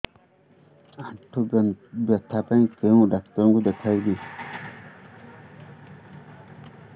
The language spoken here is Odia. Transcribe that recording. ଆଣ୍ଠୁ ବ୍ୟଥା ପାଇଁ କୋଉ ଡକ୍ଟର ଙ୍କୁ ଦେଖେଇବି